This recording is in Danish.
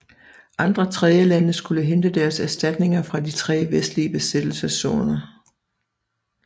Andre tredjelande skulle hente deres erstatninger fra de tre vestlige besættelseszoner